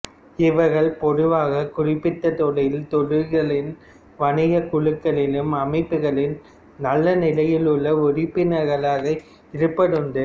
இவர்கள் பொதுவாகக் குறிப்பிட்டதொழில் துறைகளின் வணிகக் குழுக்களிலும் அமைப்புக்களிலும் நல்ல நிலையில் உள்ள உறுப்பினர்களாக இருப்பதுண்டு